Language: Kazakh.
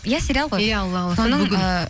иә сериал ғой иә алла қаласа бүгін ыыы